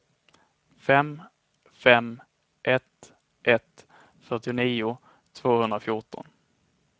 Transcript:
fem fem ett ett fyrtionio tvåhundrafjorton